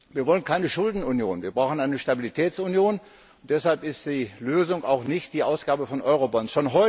Wir wollen keine Schuldenunion. Wir brauchen eine Stabilitätsunion, und deshalb ist die Lösung auch nicht die Ausgabe von Eurobonds.